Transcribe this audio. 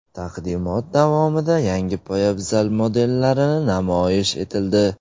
Taqdimot davomida yangi poyabzal modellari namoyish etildi.